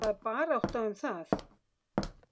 Það er barátta um það.